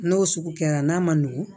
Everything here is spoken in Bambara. N'o sugu kɛra n'a ma nugu